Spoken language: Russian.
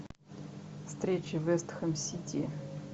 встреча вест хэм сити